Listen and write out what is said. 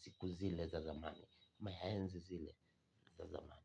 Siku zile za zamani. Maenzi zile za zamani.